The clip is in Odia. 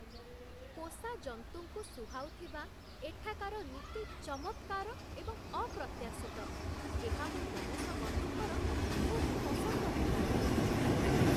ପୋଷାଜନ୍ତୁଙ୍କୁ ସୁହାଉଥିବା ଏଠାକାର ନୀତି ଚମତ୍କାର ଏବଂ ଅପ୍ରତ୍ୟାଶିତ, ଏହା ମୋ ଲୋମଶ ବନ୍ଧୁଙ୍କର ଖୁବ୍ ପସନ୍ଦ ହେବ!